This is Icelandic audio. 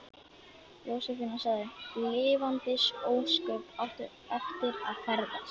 Jósefína sagði: Lifandis ósköp áttu eftir að ferðast.